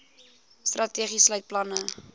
strategie sluit planne